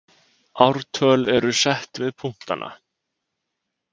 ártöl eru sett við punktana